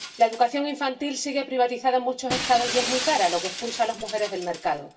La educación infantil sigue privatizada en muchos Estados y es muy cara, lo que expulsa a las mujeres del mercado.